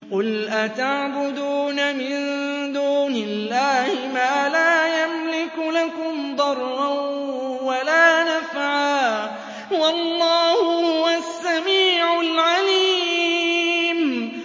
قُلْ أَتَعْبُدُونَ مِن دُونِ اللَّهِ مَا لَا يَمْلِكُ لَكُمْ ضَرًّا وَلَا نَفْعًا ۚ وَاللَّهُ هُوَ السَّمِيعُ الْعَلِيمُ